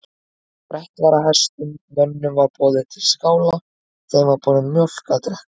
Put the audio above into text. Sprett var af hestum, mönnunum var boðið til skála, þeim var borin mjólk að drekka.